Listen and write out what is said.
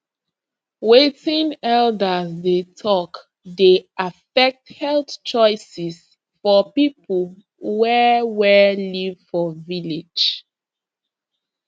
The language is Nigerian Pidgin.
wetin elders dey talk dey affect health choices for people wey wey live for village